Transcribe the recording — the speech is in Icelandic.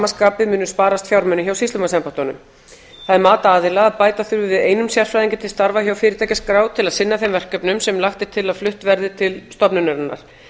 skapi munu sparast fjármunir hjá sýslumannsembættunum það er mat aðila að bæta þurfi við einum sérfræðingi til starfa hjá fyrirtækjaskrá til að sinna þeim verkefnum sem lagt er til að flutt verði til stofnunarinnar